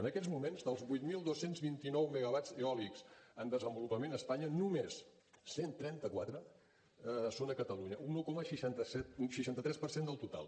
en aquests moments dels vuit mil dos cents i vint nou megawatts eòlics en desenvolupament a espanya només cent i trenta quatre són a catalunya un un coma seixanta tres per cent del total